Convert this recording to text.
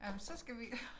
Jamen så skal vi